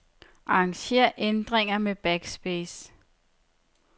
Arranger ændringer med backspace.